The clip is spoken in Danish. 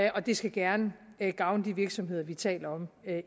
og det skal gerne gavne de virksomheder vi taler om